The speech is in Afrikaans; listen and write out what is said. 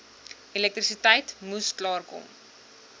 elektrisiteit moes klaarkom